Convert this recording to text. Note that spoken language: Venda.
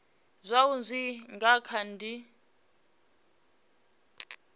zwaho zwi nga kha di